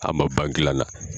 A ma ban dila la.